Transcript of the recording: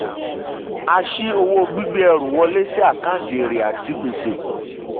a sì owó gbígbé ẹrù wọlé sí àkáǹtì èrè àti gbèsè.